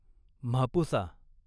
Mapusa